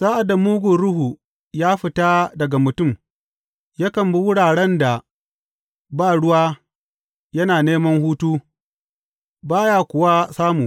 Sa’ad da mugun ruhu ya fita daga mutum, yakan bi wuraren da ba ruwa yana neman hutu, ba ya kuwa samu.